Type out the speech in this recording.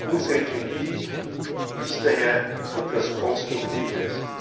Unsere Kritik ist daher etwas Konstruktives.